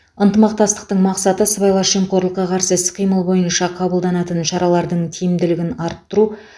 ынтымақтастықтың мақсаты сыбайлас жемқорлыққа қарсы іс қимыл бойынша қабылданатын шаралардың тиімділігін арттыру